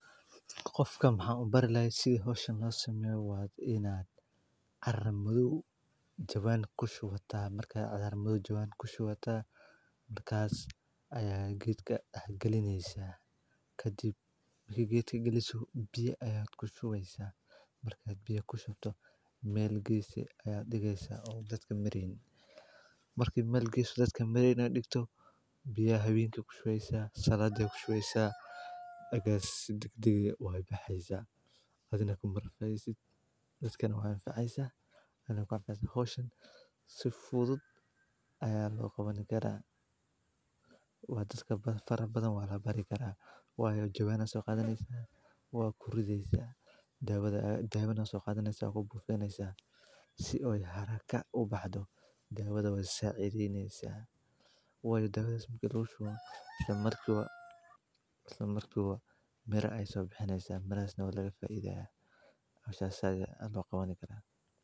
Qofka waxan bari lahay sida howshan lo qabto waa ianaad caro jawan kushubata si fudud oo habboon loogu hanaaneeyaa iyadoo la isticmaalayo jawaanno iyo carro wanaagsan. Habkan wuxuu ku fiican yahay dhir-beerista meelaha bannaan ama magaalada gudaheeda, gaar ahaan marka aan dhul badan la heli karin. Marka hore, waxaa la diyaariyaa jawaan adag, oo si fiican u neefsan kara, kana samaysan maro ama balaastiig. Gudaha jawaan kasta waxaa lagu shubaa carro bacrin ah oo isku dheellitiran — taas oo laga yaabo in lagu daray humus ama bacriminta dabiiciga.